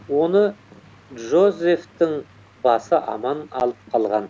оны джозефтің басы аман алып қалған